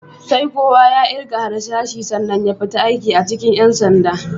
Sai kowa ya ƙirga harsashi sannan ya fita aiki a cikin ƴan sanda.